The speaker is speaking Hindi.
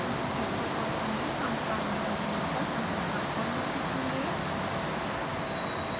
इस ट्यूटोरियल में हम chimera विंडो पर संरचना खोलना सीखेंगे